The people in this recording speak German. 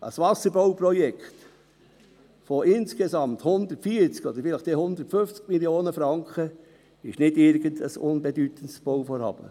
Ein Wasserbauprojekt von insgesamt 140 oder vielleicht 150 Mio. Franken ist nicht irgendein unbedeutendes Bauvorhaben;